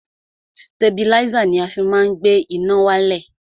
Stabilísà ni a fi má ń gbé iná wálẹ̀.